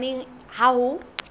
neng kapa neng ha ho